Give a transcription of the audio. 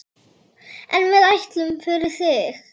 En við ætlum, fyrir þig.